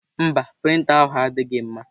Mba, prịnta ahụ adịghị mma.